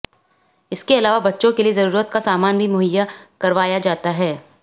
इसके अलावा बच्चों के लिए जरूरत का सामान भी मुहैया करवाया जाता है